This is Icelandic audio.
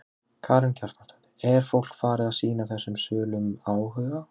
Karen Kjartansdóttir: Er fólk farið að sýna þessum sölum áhuga?